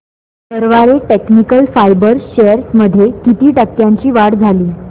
Garware technical fibres shares मध्ये किती टक्क्यांची वाढ झाली